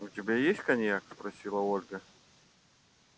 у тебя есть коньяк спросила ольга